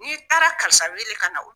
N'i taara karisa weele ka na o